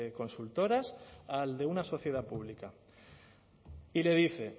consultoras al de una sociedad pública y le dice